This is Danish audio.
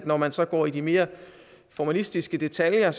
når man så går i de mere formalistiske detaljer